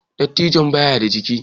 Dattijon ba ya da jika